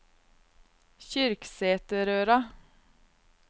Kyrksæterøra